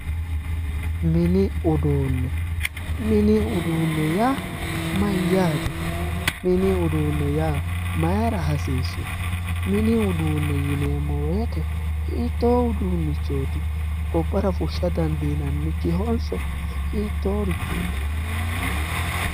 Mini uduunne, mini uduunne yaa mayyaate ,mini uduunne yaa maayira hasiissu ,mini uduunne yinneemmo woyte hiitto uduunnichooti gobbara fushsha dandiinannikihonso hiittorichooti ?